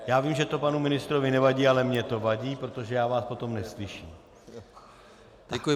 Já vím, že to panu ministrovi nevadí, ale mně to vadí, protože já vás potom neslyším.